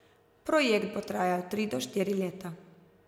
Projekt bo trajal tri do štiri leta.